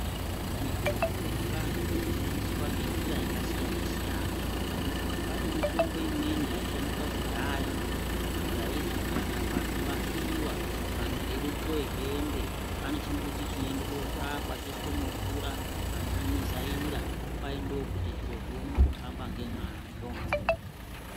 Mitombo yechivantu inoshandiswa ngenjira yakasiyana siyana pane mitombo imweni yaishandiswa kudhaya yaizi kana pandau pafiwa vantu veide kupuwe hembe pane chimbuti chinoende kotsvakwa choiswe mumvura vantu vomizaira kwai ndokuti zviro zvione kuhamba ngemazvo.